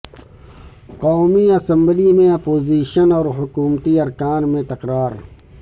قومی اسمبلی میں اپوزیشن اور حکومتی ارکان میں تکرار